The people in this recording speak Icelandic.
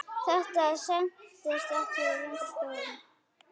Þetta stenst enga skoðun.